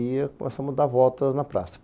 E começamos a dar voltas na praça.